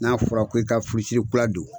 N'a fɔra ko i ka furusiri kura don